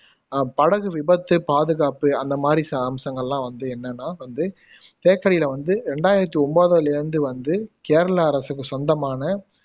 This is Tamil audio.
அஹ் படகு விபத்து பாதுகாப்பு அந்த மாதிரி சா அம்சங்கள்லாம் வந்து என்னன்னா வந்து தேக்கடில வந்து ரெண்டாயிரத்தி ஒன்பதுலேயிருந்து வந்து கேரள அரசுக்கு சொந்தமான